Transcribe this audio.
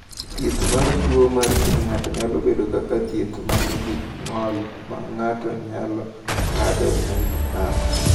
"Thieth mar tuo mar ng’ut ng’ato nyalo bedo kaka: Thieth ma nigi ng’ol ma ng’ato nyalo ng’adogo ng’ut ng’ato."